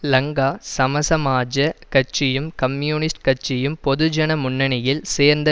லங்கா சமசமாஜக் கட்சியும் கம்யூனிஸ்ட் கட்சியும் பொதுஜன முன்னணியில் சேர்ந்த